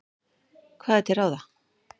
Hvað er til ráða?